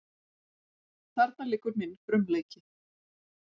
Þarna liggur minn frumleiki.